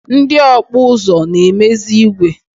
Ndị ọkpụ ụzụ na-emezi igwe.